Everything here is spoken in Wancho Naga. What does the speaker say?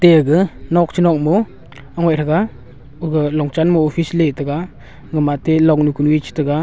age nok che nok mo thega aga longchan mo office le tega gama ate longnu kunu a chi tega.